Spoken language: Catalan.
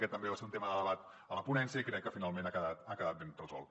aquest també va ser un tema de debat a la ponència i crec que finalment ha quedat ben resolt